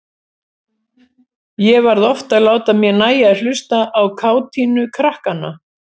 Ég varð oft að láta mér nægja að hlusta á kátínu krakkanna.